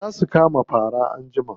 Za su kama fara anjima.